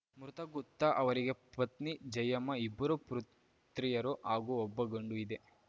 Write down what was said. ಮೃತ ಗುತ್ತ ಅವರಿಗೆ ಪತ್ನಿ ಜಯಮ್ಮ ಇಬ್ಬರು ಪೃತ್ರಿಯರು ಹಾಗೂ ಒಬ್ಬ ಗಂಡು ಇದೆ